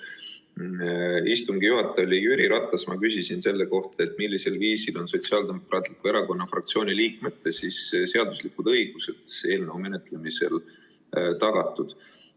Kui istungi juhataja oli Jüri Ratas, siis ma küsisin temalt selle kohta, et millisel viisil on Sotsiaaldemokraatliku Erakonna fraktsiooni liikmete seaduslikud õigused eelnõu menetlemisel tagatud.